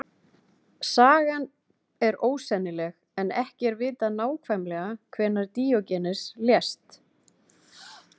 Sagan er ósennileg en ekki er vitað nákvæmlega hvenær Díógenes lést.